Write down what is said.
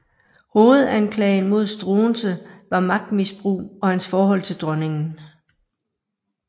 Hovedanklagen mod Struensee var magtmisbrug og hans forhold til dronningen